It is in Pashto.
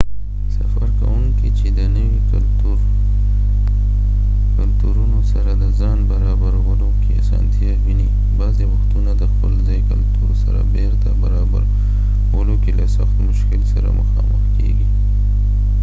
سفر کوونکي چې د نوي کلتورونو سره د ځان برابرولو کې آسانتیا ویني بعضې وختونه د خپل ځایي کلتور سره بیرته برابرولو کې له سخت مشکل سره مخامخ کیږي